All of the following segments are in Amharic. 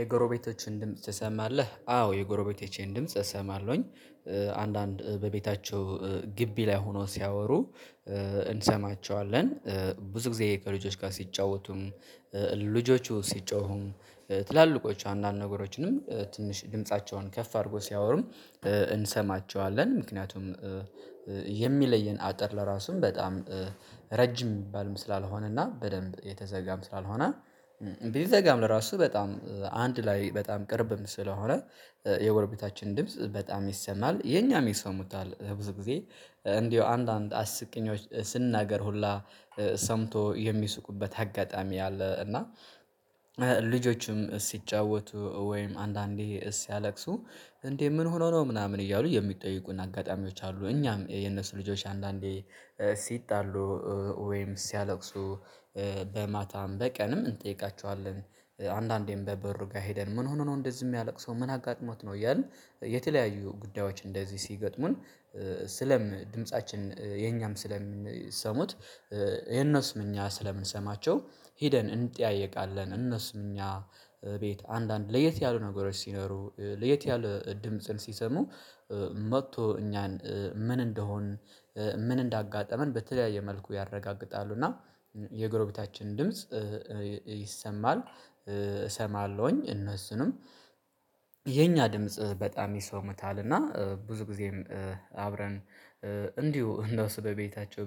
የጎረቤቶችህን ድምጽ ትሰማለህ? አዎ የጎረቤቶቼን ድምጽ እሰማለሁኝ። አንዳንድ በቤታቸው ግቢ ላይ ሆኖ ሲያወሩ። እንሰማቸዋለን። ብዙ ጊዜ ከልጆች ጋር ሲጫወቱም ልጆቹ ሲጮሁም ትላልቆቹ አንዳንድ ነገሮችንም ትንሽ ድምፃቸውን ከፍ አድርጎ ሲያወሩም። እንሰማቸዋለን ምክንያቱም የሚለየን አጥር ለራሱም በጣም ረጅም የሚባል ስላልሆነና በደንብ የተዘጋም ስላልሆነ። ቢዘጋም ለራሱ በጣም አንድ ላይ በጣም ቅርብም ስለሆነ የጎረቤታችን ድምጽ በጣም ይሰማል። የኛንም ይሰሙታል ብዙ ጊዜ እንደው አንዳንድ አስቂኞች ስንናገር ሁላ ሰምቶ የሚስቁበት አጋጣሚ አለ። እና ልጆችም ሲጫወቱ ወይም አንዳንዴ ሲያለቅሱ እንዴ ምን ሆኖ ነው ምናምን እያሉ የሚጠይቁን አጋጣሚዎች አሉ። እኛም የነሱ ልጆች አንዳንዴ ሲጣሉ ወይም ሲያለቅሱ በማታም በቀንም እንጠይቃቸዋለን። አንዳንዴም በበሩ ጋር ሄደን ምን ሆኖ ነው እንደዚህ የሚያለቅሰው ምን አጋጥሞት ነው እያልን የተለያዩ ጉዳዮች እንደዚህ ሲገጥሙን። ስለም ድምፃችን የኛም ስለምንሰሙት የእነሱም እኛ ስለምንሰማቸው ሂደን እንጠያየቃለን። እነሱ እኛ ቤት አንዳንድ ለየት ያሉ ነገሮች ሲኖሩ ለየት ያሉ ድምጽን ሲሰሙ መጥቶ እኛን ምን እንደሆን ምን እንዳጋጠመን በተለያየ መልኩ ያረጋግጣሉ። እና የጎረቤታችን ድምጽ ይሰማል። እሰማለሁኝ እነሱንም የኛ ድምጽ በጣም ይሰሙታል። እና ብዙ ጊዜም አብረን እንዲሁ እነሱ በቤታቸው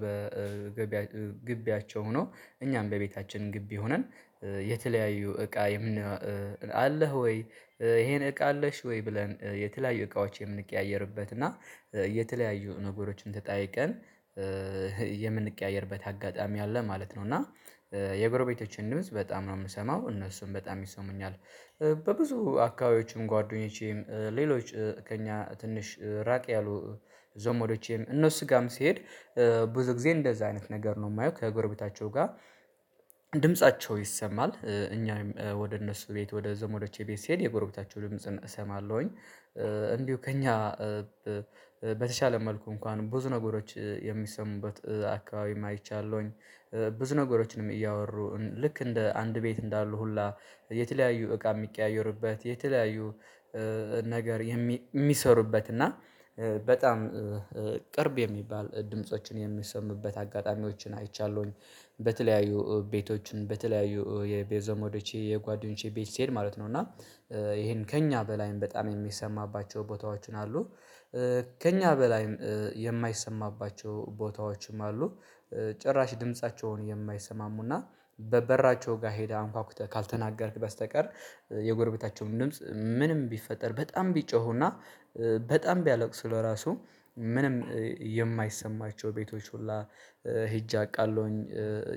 በግቢያቸው ሆነው እኛም በቤታችን ግቢ ሆነን የተለያዩ እቃ የምን አለህ ወይ ይሄን እቃ አለሽ ወይ ብለን የተለያዩ እቃዎች የምንቀያየርበት እና የተለያዩ ነገሮችን ተጠያይቀን የምንቀያየርበት አጋጣሚ አለ። ማለት ነው እና የጎረቤቶቼን ድምጽ በጣም ነው የምሰማው እነሱም በጣም ይሰሙኛል። በብዙ አካባቢዎችም ጓደኞቼም ሌሎች ከእኛ ትንሽ ራቅ ያሉ ዘመዶቼም እነሱ ጋም ሲሄድ ብዙ ጊዜ እንደዛ አይነት ነገር ነው የማየው። ከጎረቤታቸው ጋር ድምፃቸው ይሰማል እኛም ወደ እነሱ ቤት ወደ ዘመዶቼ ቤት ስሄድ የጎረቤታቸው ድምጽን እሰማለሁኝ። እንዲሁ ከእኛ በተሻለ መልኩ እንኳን ብዙ ነገሮች የሚሰሙበት አካባቢም አይቻለሁኝ። ነገሮችንም እያወሩ ልክ እንደ አንድ ቤት እንዳሉ ሁላ የተለያዩ እቃ የሚቀያየሩበት የተለያዩ ነገር የሚሰሩበት እና በጣም ቅርብ የሚባል ድምፆችን የሚሰሙበት አጋጣሚዎችን አይቻለሁኝ። በተለያዩ ቤቶችን በተለያዩ የቤዞሞዶቼ ጓደኞቼ ቤት ስትሄድ ማለት ነው እና ይሄን ከእኛ በላይም በጣም የሚሰማባቸው ቦታዎችን አሉ። ከእኛ በላይ የማይሰማባቸው ቦታዎችም አሉ። ጭራሽ ድምፃቸውን የማይሰማሙና በበራቸው ጋር ሄደህ አንኳኩተህ ካልተናገርክ በስተቀር የጎረቤታቸውን ድምጽ ምንም ቢፈጠር በጣም ቢጮሁና በጣም ቢያለቅስ ስለራሱ ምንም የማይሰማቸው ቤቶች ሁላ ሄጄ አውቃለሁኝ።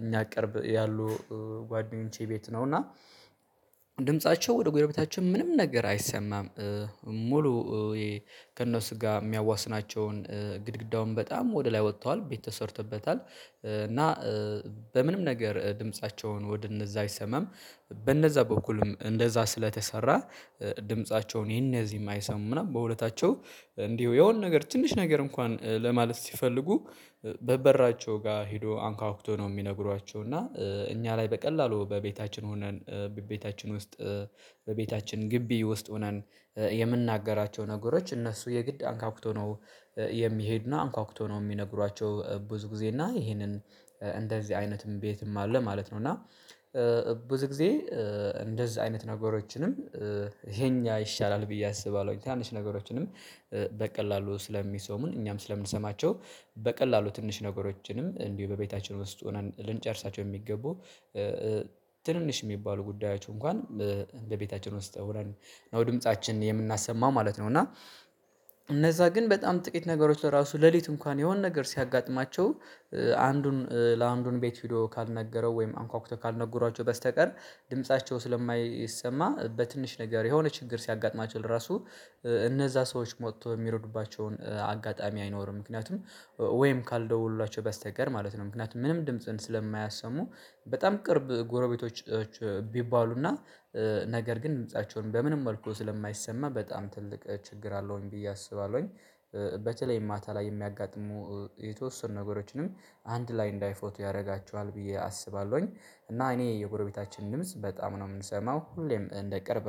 እኛ ቅርብ ያሉ ጓደኞቼ ቤት ነው እና ድምፃቸው ወደ ጎረቤታችን ምንም ነገር አይሰማም። ሙሉ ከእነሱ ጋር የሚያዋስናቸውን ግድግዳውን በጣም ወደ ላይ ወጥተዋል ቤት ተሰርቶበታል። እና በምንም ነገር ድምፃቸውን ወደ እነዛ አይሰማም በእነዛ በኩልም እንደዛ ስለተሰራ ድምፃቸው የነዚህን አይሰሙም ምናምን በውለታቸው እንዲሁ የሆነ ነገር ትንሽ ነገር እንኳን ለማለት ሲፈልጉ በበራቸው ጋር ሄዶ አንኳኩቶ ነው የሚነግሯቸው። እና እኛ ላይ በቀላሉ በቤታችን ሆነን በቤታችን ውስጥ በቤታችን ግቢ ውስጥ ሆነን የምናገራቸው ነገሮች እነሱ የግድ አንኳኩቶ ነው የሚሄድና አንኳኩቶ ነው የሚነግሯቸው ብዙ ጊዜ እና ይሄንን እንደዚህ አይነትም በትም አለ ማለት ነው። እና ብዙ ጊዜ እንደዚህ አይነት ነገሮችንም ይሄኛ ይሻላል ብዬ አስባለሁኝ። ትንሽ ነገሮችንም በቀላሉ ስለሚሰሙን እኛም ስለምንሰማቸው በቀላሉ ትንሽ ነገሮችንም እንዲሁ በቤታችን ውስጥ ሆነን ልንጨርሳቸው የሚገቡ ትንንሽ የሚባሉ ጉዳዮች እንኳን በ ቤታችን ወስጥ ሆነን ነው ድምፃችን የምናሰማው ማለት ነው። እና እነዛ ግን በጣም ጥቂት ነገሮች ለራሱ ሌሊት እንኳን የሆነ ነገር ሲያጋጥማቸው አንዱን ለአንዱን ቤት ቪዲዮ ካልነገረው ወይም አንኳኩቶ ካልነገሯቸው በስተቀር ድምፃቸው ስለማይሰማ በትንሽ ነገር የሆነ ችግር ሲያጋጥማቸው ለራሱ እነዛ ሰዎች ሞቶ የሚሮዱባቸውን አጋጣሚ አይኖርም። ምክንያቱም ወይም ካልደውሉላቸው በስተቀር ማለት ነው ምክንያቱም ምንም ድምጽን ስለማያሰሙ በጣም ቅርብ ጎረቤቶች ቢባሉና ነገር ግን ድምፃቸውን በምንም መልኩ ስለማይሰማ በጣም ትልቅ ችግር አለውኝ ብዬ አስባለሁኝ። በተለይ ማታ ላይ የሚያጋጥሙ የተወሰኑ ነገሮችንም አንድ ላይ እንዳይፎቱ ያደርጋቸዋል ብዬ አስባለሁኝ። እና እኔ የጎረቤታችን ድምጽ በጣም ነው የምንሰማው ሁሌም እንደ ቅርብ